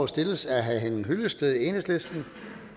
stilles af herre henning hyllested enhedslisten